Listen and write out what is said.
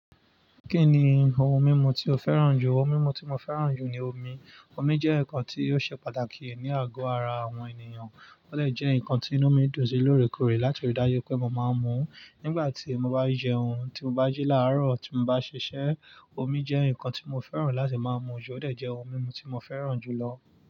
Kí ni ohun mímu tí o fẹ́ràn jù? Ohun mímu tí mo fẹ́ràn jù ni omi. Omi jẹ́ nǹkan tí ó ṣe pàtàkì ní àgọ́ ara àwọn ènìyàn, ó lmdè jẹ́ ǹkan tí ń mú mi dùn sí lóòrèkòòrè láti òrí dájú pé mo máa ń mu ú nígbà tí mo bá jẹun, tí mo bá jí làárọ̀, tí mo bá ṣiṣẹ́. Omi jẹ́ ǹkan tí mo fẹ́ràn láti máa mu jú, ó dà jẹ́ ohun mímu tí mo fẹ́ràn jù lọ.